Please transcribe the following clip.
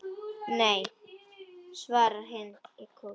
Nei, svara hinar í kór.